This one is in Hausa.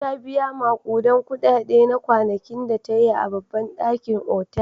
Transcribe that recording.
Ta biya maƙudan kuɗaɗe na kwanakin da ta yi a babban ɗakin otal.